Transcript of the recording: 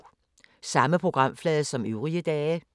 Samme programflade som øvrige dage